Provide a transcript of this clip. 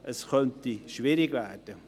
Das könnte schwierig werden.